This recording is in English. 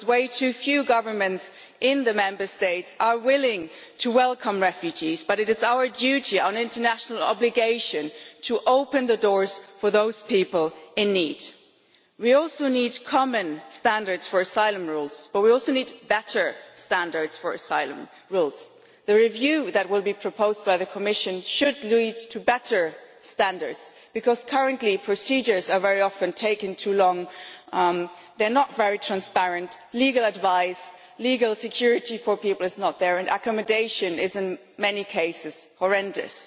Far too few governments in the Member States are willing to welcome refugees, but it is our duty and our international obligation to open the doors to those people in need. We need common standards for asylum rules, but we also need better standards for asylum rules. The review that will be proposed by the Commission should lead to better standards, because current procedures are very often taking too long. They are not very transparent, and legal advice and legal security for people is not there. Accommodation is, in many cases, horrendous.